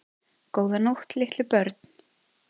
Góða nótt litlu börn.